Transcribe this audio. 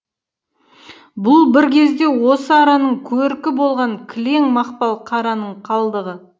бұл бір кезде осы араның көркі болған кілең мақпал қараның қалдығы